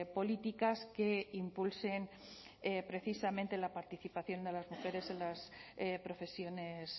políticas que impulsen precisamente la participación de las mujeres en las profesiones